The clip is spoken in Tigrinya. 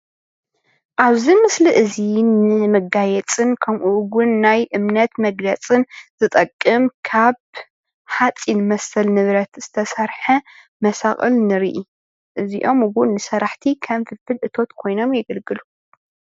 ኣብዚ ምስሊ እዚ ንመጋየፂን ከምኡውን ናይ እምነት መግለፂን ዝጠቅም ካብ ሓፂን መሰል ንብረት ዝተሰረሓ መሳቅል ንርኢ። እዚኦም ውን ንሰራሕቲ ከም ፍልፍል እቶት ኮይኖም የገልግሉ።